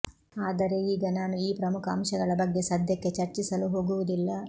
ಆದರೆ ಈಗ ನಾನು ಈ ಪ್ರಮುಖ ಅಂಶಗಳ ಬಗ್ಗೆ ಸದ್ಯಕ್ಕೆ ಚರ್ಚಿಸಲು ಹೋಗುವುದಿಲ್ಲ